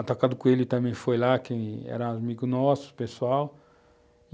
A Toca do Coelho também foi lá, quem era amigo nosso, pessoal.